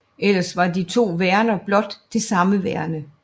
Ellers var de to værender blot det samme værende